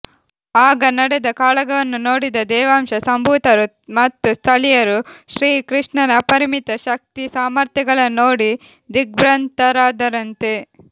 ಆಗ ನಡೆದ ಕಾಳಗವನ್ನು ನೋಡಿದ ದೇವಾಂಶ ಸಂಭೂತರು ಮತ್ತು ಸ್ಥಳೀಯರು ಶ್ರೀ ಕೃಷ್ಣನ ಅಪರಿಮಿತ ಶಕ್ತಿ ಸಾಮರ್ಥ್ಯಗಳನ್ನು ನೋಡಿ ದಿಗ್ಭ್ರಾಂತರಾದರಂತೆ